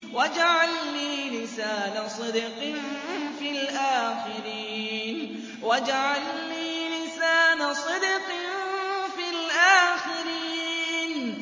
وَاجْعَل لِّي لِسَانَ صِدْقٍ فِي الْآخِرِينَ